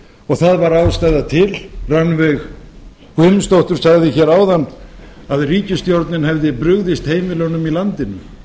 og það var ástæða til rannveig guðmundsdóttir sagði áðan að ríkisstjórnin hefði brugðist heimilunum í landinu